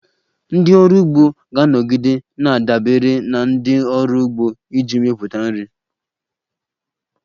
Ndị ọrụ ugbo ga-anọgide na-adabere na ndị ọrụ ugbo iji mepụta nri.